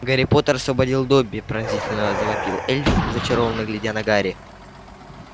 гарри поттер освободил добби пронзительно завопил эльф зачарованно глядя на гарри